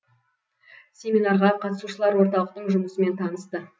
семинарға қатысушылар орталықтың жұмысымен танысты